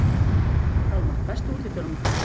Hjálmar, læstu útidyrunum.